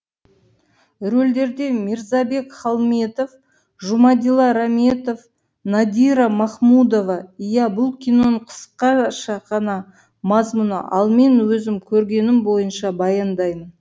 рөлдерде мирзабек холмедов жумадилла раметов нодира махмудоваиә бұл киноның қысқаша ғана мазмұны ал мен өзім көргенім бойынша баяндаймын